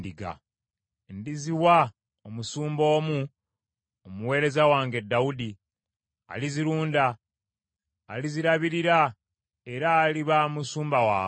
Ndiziwa omusumba omu, omuweereza wange Dawudi, alizirunda; alizirabirira era aliba musumba waabwe.